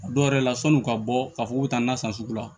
A dɔw yɛrɛ la san'u ka bɔ k'a fɔ k'u bɛ taa na san sugu la